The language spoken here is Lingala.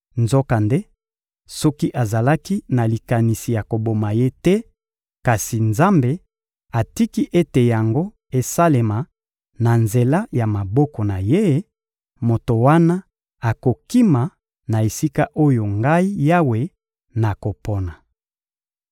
Nzokande, soki azalaki na likanisi ya koboma te, kasi Nzambe atiki ete yango esalema na nzela ya maboko na ye, moto wana akokima na esika oyo Ngai Yawe nakopona.